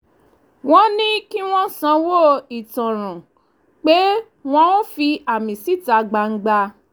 wọ́n ní kí wọ́n sanwó ìtanràn pé wọ́n ò fi àmì síta gbangba